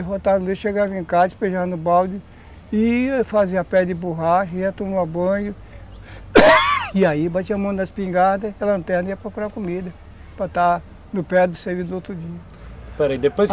Aí voltava no dia, chegava em casa, despejava no balde e fazia pé de borracha, ia tomar banho, e aí batia a mão na espingarda, a lanterna ia procurar comida, para está no pé do serviço do outro dia, pera aí, depois